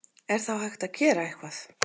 Er þá hægt að gera eitthvað?